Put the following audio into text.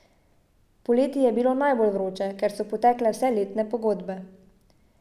Poleti je bilo najbolj vroče, ker so potekle vse letne pogodbe.